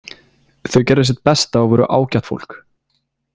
Þau gerðu sitt besta og voru ágætt fólk.